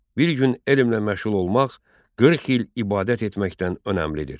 Bir gün elmlə məşğul olmaq 40 il ibadət etməkdən önəmlidir.